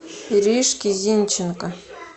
иришке зинченко